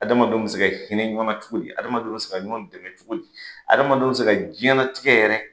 Adamadenw bɛ se ka hinɛ ɲɔgɔnna cogo di? Adamadenw bɛ se ka ɲɔgɔn dɛmɛ cogo di? Adamadenw bɛ se ka diɲɛnatigɛ yɛrɛ